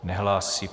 Nehlásí.